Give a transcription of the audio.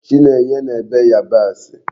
Chinenye na-ebe Yabasi